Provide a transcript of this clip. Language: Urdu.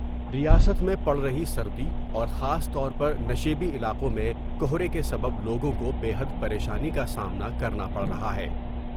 ریاست میں پڑ رہی سردی اور خاص طور پر نشیبی علاقوں میں کہرے کے سبب لوگوں کو بے حد پر یشانی کا سامنا کرنا پڑ رہا ہے ۔